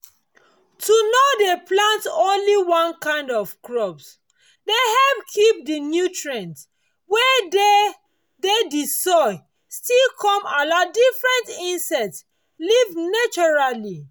to nor dey plant only one kind of crop dey help keep d nutrients wey dey d d soil still come allow different insects live naturally